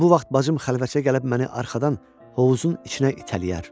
və bu vaxt bacım xəlvətcə gəlib məni arxadan hovuzun içinə itələyər.